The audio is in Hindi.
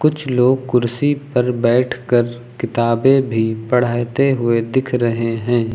कुछ लोग कुर्सी पर बैठकर किताबें भी पढ़ाते हुए दिख रहे हैं।